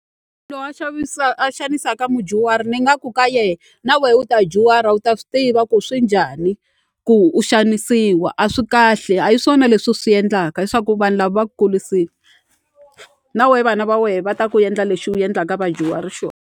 wa xavisa a xanisaka mudyuhari ni nga ku ka ye na we u ta dyuhara u ta swi tiva ku swi njhani ku u xanisiwa a swi kahle a hi swona leswi u swi endlaka hi swa ku vanhu lava va kulisini na we vana va wehe va ta ku endla lexi u endlaka vadyuhari .